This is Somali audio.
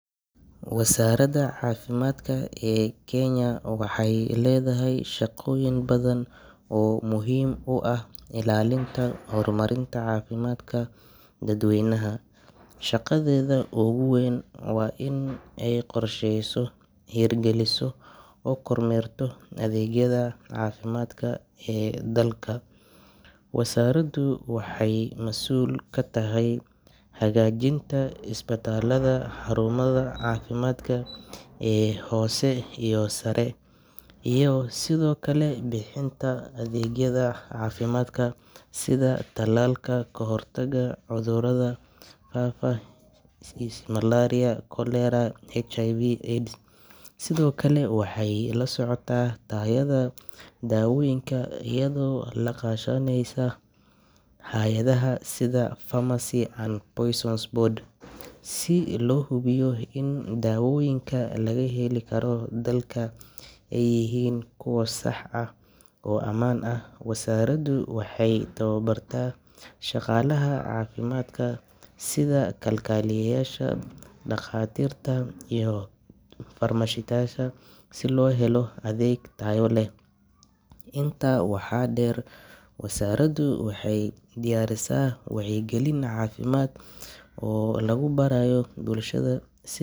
Wasaaradda Caafimaadka ee Kenya waxay leedahay shaqooyin badan oo muhiim u ah ilaalinta iyo horumarinta caafimaadka dadweynaha. Shaqadeeda ugu weyn waa in ay qorsheyso, hirgeliso oo kormeerto adeegyada caafimaadka ee dalka. Wasaaraddu waxay masuul ka tahay hagaajinta isbitaalada, xarumaha caafimaadka ee hoose iyo sare, iyo sidoo kale bixinta adeegyada caafimaadka sida talaalka, kahortagga cudurrada faafa sida malaria, cholera iyo HIV/AIDS. Sidoo kale, waxay la socotaa tayada dawooyinka iyadoo la kaashaneysa hay’adaha sida Pharmacy and Poisons Board si loo hubiyo in daawooyinka laga heli karo dalka ay yihiin kuwo sax ah oo ammaan ah. Wasaaraddu waxay tababartaa shaqaalaha caafimaadka sida kalkaaliyeyaasha, dhaqaatiirta iyo farmashistayaasha si loo helo adeeg tayo leh. Intaa waxaa dheer, wasaaraddu waxay diyaarisaa wacyigelin caafimaad oo lagu barayo bulshada sid.